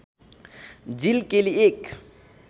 जिल केली एक